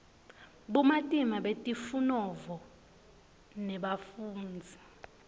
bumatima betifunovo nebafundzisi